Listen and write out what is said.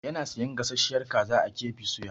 Yana sayan gasasshiyar kaza a KB soya.